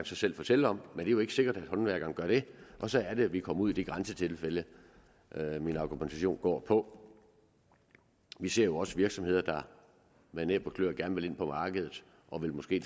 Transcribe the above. selv fortælle om men jo ikke sikkert at håndværkeren gør det og så er det vi kommer ud i de grænsetilfælde min argumentation går på vi ser jo også virksomheder der med næb og kløer gerne vil ind på markedet og måske